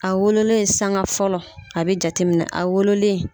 A wololen sanga fɔlɔ a bɛ jateminɛ a wololen